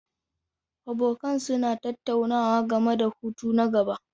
Abokan suna tattaunawa game da hutu na gaba.